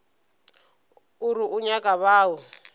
o re o nyaka bao